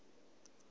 tshinovhea